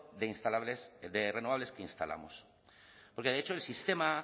de renovables que instalamos porque de hecho el sistema